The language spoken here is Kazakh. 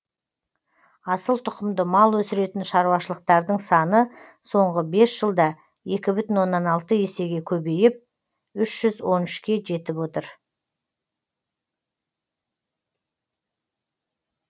асыл тұқымды мал өсіретін шаруашылықтардың саны соңғы бес жылда екі бүтін оннан алты есеге көбейіп үш жүз он үшке жетіп отыр